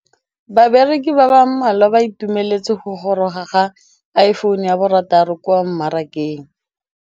Bareki ba ba malwa ba ituemeletse go gôrôga ga Iphone6 kwa mmarakeng.